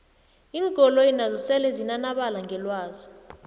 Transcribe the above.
iinkoloyi nazo sele zinanabala ngelwazi